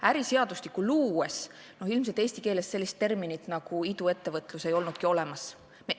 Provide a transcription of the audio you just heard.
Äriseadustikku luues ei olnud ilmselt eesti keeles terminit "iduettevõtlus" olemas.